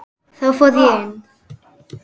Þá fór ég inn.